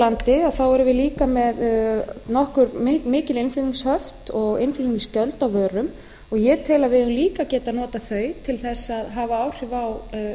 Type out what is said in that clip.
landi nokkuð mikil innflutningshöft og innflutningsgjöld á vörum og ég tel að við eigum líka að átak notað þau til þess að hafa áhrif á verð á